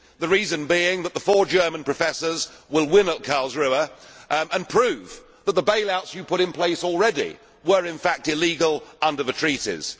The reason being that the four German professors will win at Karlsruhe and prove that the bail outs you have put in place already were in fact illegal under the treaties.